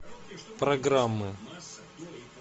программы